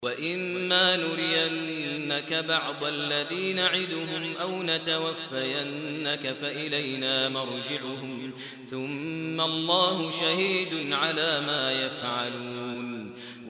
وَإِمَّا نُرِيَنَّكَ بَعْضَ الَّذِي نَعِدُهُمْ أَوْ نَتَوَفَّيَنَّكَ فَإِلَيْنَا مَرْجِعُهُمْ ثُمَّ اللَّهُ شَهِيدٌ عَلَىٰ مَا يَفْعَلُونَ